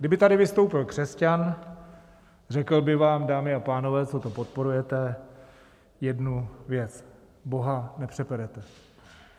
Kdyby tady vystoupil křesťan, řekl by vám, dámy a pánové, co to podporujete, jednu věc: Boha nepřeperete.